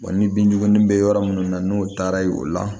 ni bin juguman bɛ yɔrɔ munnu na n'o taara ye o la